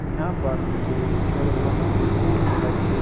यहां पर मुझे खिलौने की दुकान दिखाई दे रही--